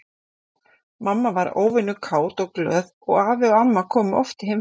Mamma var óvenju kát og glöð og afi og amma komu oft í heimsókn.